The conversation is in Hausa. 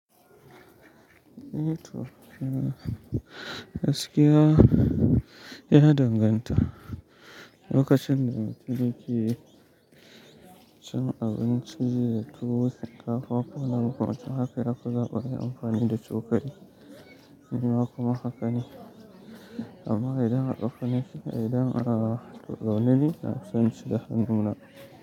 Toh mm Gaskiya ya danganta. Lokacin da mutum yake cin abinci da tuwo shinkafa kowani makamancin haka ya fi zaba ayi amfani da cokali. Nima kuma haka ne. Amma idan akafane idan a zaune ne na fi son ci da hannuna.